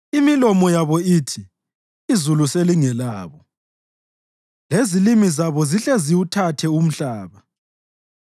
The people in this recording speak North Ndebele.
Imilomo yabo ithi izulu selingelabo, lezilimi zabo zihle ziwuthathe umhlaba.